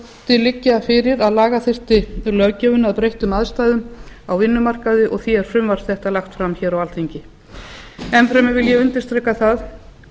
þótti liggja fyrir að laga þyrfti löggjöfina að breyttum aðstæðum á vinnumarkaði og því er frumvarp þetta lagt fram á alþingi enn fremur vil ég undirstrika það